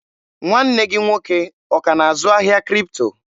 Nwanne gị nwoke ọ ka na-azụ ahịa Kripto?